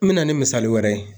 N mena ni misali wɛrɛ ye